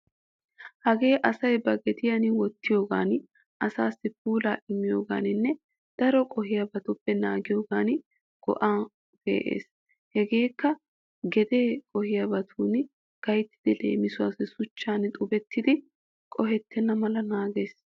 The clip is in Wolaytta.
Hagee asay ba gediyan wottiyogan asaassi puulaa immiyoogaaninne daro qohiyabaappe naagiyogan go'an pee'ees. Hegeekka gedee qohiyaabatun gayttidi leemisuwaassi shuchchan xubettidi qohettenna mala naagees.